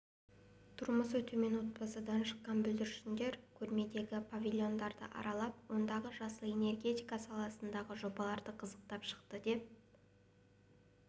тұрмысы төмен отбасыдан шыққан бүлдіршіндер көрмедегі павильондарды аралап ондағы жасыл энергетика саласындағы жобаларды қызықтап шықты деп